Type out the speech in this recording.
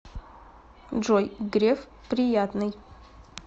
джой греф приятный